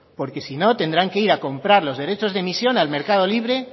porque si no tendrán que ir a comprar los derechos de emisión al mercado libre